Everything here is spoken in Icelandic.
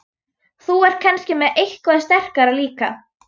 Þú ert kannski með eitthvað sterkara líka?